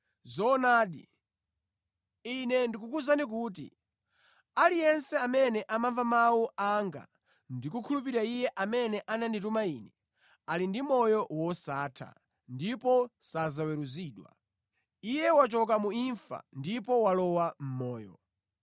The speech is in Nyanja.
“Zoonadi, Ine ndikukuwuzani kuti aliyense amene amamva mawu anga ndi kukhulupirira Iye amene ananditumiza Ine, ali ndi moyo wosatha ndipo sadzaweruzidwa. Iye wachoka mu imfa ndipo walowa mʼmoyo.